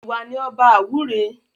Ìwà ni ọba àwúre